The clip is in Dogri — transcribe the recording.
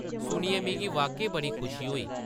सुनियै मिगी वाक्या-ई बड़ी खुशी होई ।